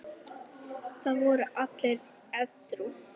Það voru allir edrú.